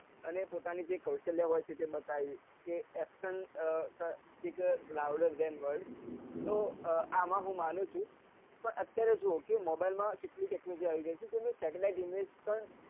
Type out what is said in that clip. અને પોતાની જે કૌશલ્ય હોય છે તે બતાવી તો અમ હું માનું છું પણ અત્યારે mobile માં કેટલી technology આવી ગઈ છે જેમ કે satelitte image